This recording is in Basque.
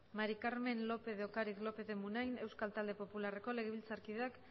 maría del carmen lópez de ocariz lópez de munain euskal talde popularreko legebiltzarkideak